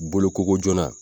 Boloko ko joona